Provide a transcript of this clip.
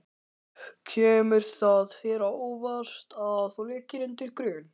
Kemur það þér á óvart að þú liggir undir grun?